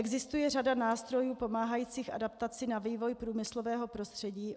Existuje řada nástrojů pomáhajících adaptaci na vývoj průmyslového prostředí.